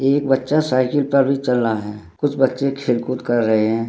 एक बच्चा साइकिल पर भी चल रहा है कुछ बच्चे खेल कूद कर रहे है।